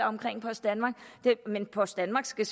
omkring post danmark men post danmark skal